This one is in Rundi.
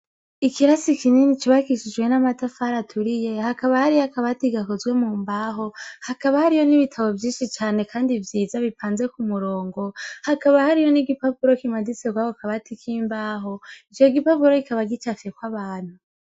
Ikirasi kinini cubakishijwe n'amatafari aturiye, hakaba hariyo akabati gakozwe mu mbaho hakaba hariyo n'ibitabo vyinshi cane kandi vyiza bipanze ku murongo, hakaba hariyo n'igipapuro kimanitse kwako kabati k'imbaho ico gipapuro kikaba gicafyeko abantu.